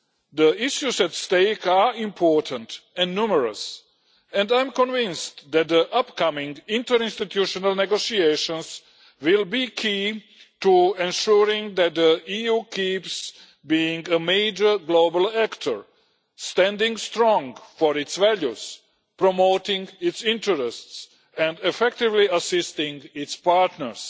The issues at stake are important and numerous, and I am convinced that the upcoming interinstitutional negotiations will be key to ensuring that the EU keeps being a major global actor standing strong for its values, promoting its interests and effectively assisting its partners